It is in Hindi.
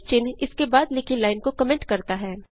चिन्ह इसके बाद लिखी लाइन को कमेंट करता है